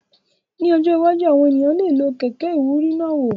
Ní ọjọ́ iwájú, àwọn ènìyàn lè lo kẹ̀kẹ́ ìwúrí náà wò